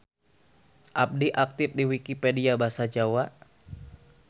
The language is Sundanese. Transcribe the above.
Abdi aktip di Wikipedia Basa Jawa.